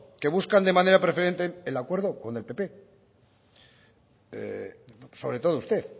que buscan de manera preferente el acuerdo con el pp sobre todo usted